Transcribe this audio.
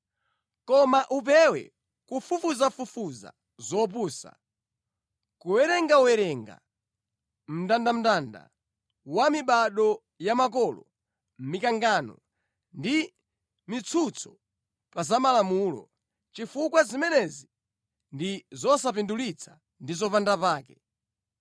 Koma upewe kufufuzafufuza zopusa, kuwerengawerenga mndandanda wa mibado ya makolo, mikangano ndi mitsutso pa za Malamulo, chifukwa zimenezi ndi zosapindulitsa ndi zopanda pake.